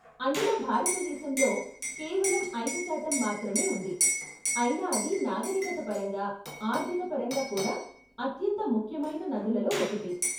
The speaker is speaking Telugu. అందులో భారతదేశంలో కేవలం ఐదు శాతం మాత్రమే ఉంది, అయినా అది నాగరీకత పరంగా, ఆర్ధిక పరంగా కూడా, అత్యంత ముఖ్యమైన నదులలో ఒకటి.